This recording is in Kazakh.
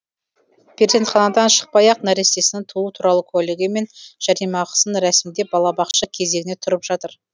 перзентханадан шықпай ақ нәрестесінің туу туралы куәлігі мен жәрдемақысын рәсімдеп балабақша кезегіне тұрып жатыр